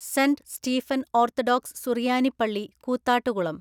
saint Stephen Orthodox സുറിയാനി പള്ളി കൂത്താട്ടുകുളം